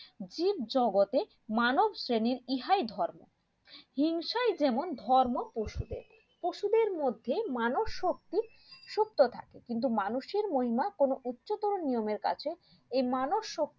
তিন জগতের মানব শ্রেণীর ইহাই ধর্ম হিংসাই যেমন ধর্ম পশুদের পশুদের মধ্যে মানব শক্তি সুক্ত থাকে কিন্তু মানুষের মহিমা কোন উচ্চতর নিয়মের কাছে এই মানব শক্তির